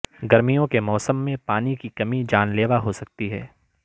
گرمیوں کے موسم میں پانی کی کمی جان لیوا ہو سکتی ہے